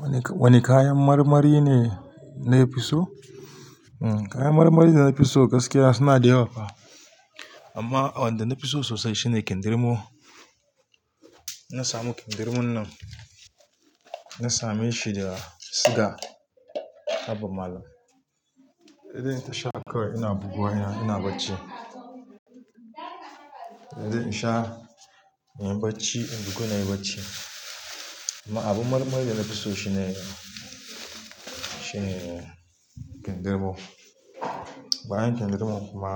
Wani, wani kayan marmari ne na fi so? Hmm kayan marmari da na fi so gaskiya suna da yawa fa. Amma wanda na fi so sosai shine kindirmo. Na samu kindirmon nan, na same shi daga Siga Haba Malam. Idan in tasha kawai ina buguwa ina, ina bacci. Idan in sha, inyi bacci, in bugu na yi bacci. Amma abu marmari da na fi so shi ne, shi ne kindirmo. Bayan kindirmo kuma